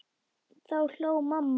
Þá hló mamma.